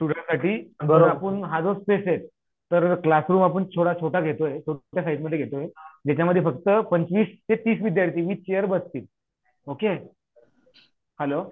स्टुडेंटसाठी हे इथेच तर क्लासरूम आपण थोडा छोटा घेतोय स्टुडेंटच्या साईजमध्ये घेतो हे ज्याच्यामध्ये फक्त पंचवीस ते तीस विद्यार्थी बसतील ओके हॅलो